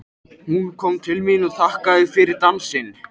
Hún kom til mín og þakkaði fyrir dansinn.